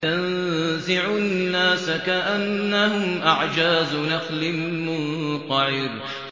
تَنزِعُ النَّاسَ كَأَنَّهُمْ أَعْجَازُ نَخْلٍ مُّنقَعِرٍ